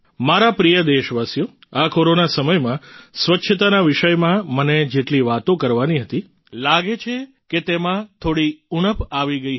મારા પ્રિય દેશવાસીઓ આ કોરોના સમયમાં સ્વચ્છતાના વિષયમાં મને જેટલી વાતો કરવાની હતી લાગે છે કદાચ તેમાં થોડી ઉણપ આવી ગઈ હતી